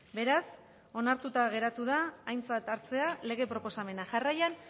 beraz onartuta geratu da aintzat hartzea lege proposamena jarraian